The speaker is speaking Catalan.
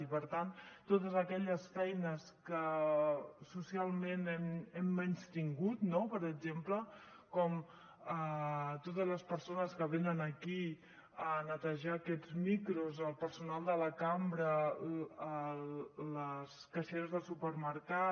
i per tant totes aquelles feines que socialment hem menystingut no per exemple com totes les persones que venen aquí a netejar aquests micros el personal de la cambra les caixeres del supermercat